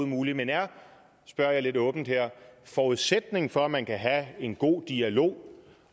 muligt men er spørger jeg lidt åbent her forudsætningen for at man kan have en god dialog